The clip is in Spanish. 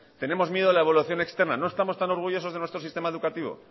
tenemos miedo a la evaluación externa no estamos tan orgullosos de nuestro sistema educativo